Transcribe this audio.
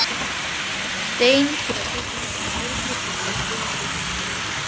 stein til að tryggja henni öryggi og heilbrigð lífsskilyrði.